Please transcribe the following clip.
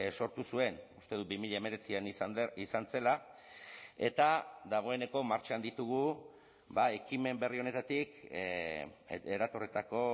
sortu zuen uste dut bi mila hemeretzian izan zela eta dagoeneko martxan ditugu ekimen berri honetatik eratorritako